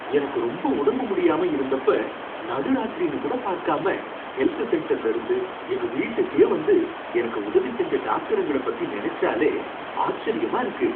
எனக்கு ரொம்ப உடம்பு முடியாம இருந்தப்ப நடுராத்திரினு கூட பார்க்காம ஹெல்த் சென்டர்ல இருந்து எங்க வீட்டுக்கே வந்து எனக்கு உதவி செஞ்ச டாக்டருங்கள பத்தி நனைச்சாலே ஆச்சரியமா இருக்கு.